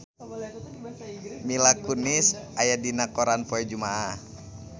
Mila Kunis aya dina koran poe Jumaah